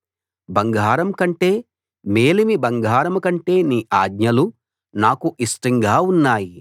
బంగారం కంటే మేలిమి బంగారం కంటే నీ ఆజ్ఞలు నాకు ఇష్టంగా ఉన్నాయి